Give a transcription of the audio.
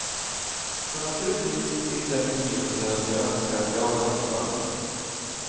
Så naturligtvis sitter jag i min biofåtölj och önskar att jag hade fått vara med.